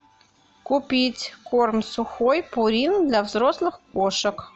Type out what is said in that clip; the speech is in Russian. купить корм сухой пурин для взрослых кошек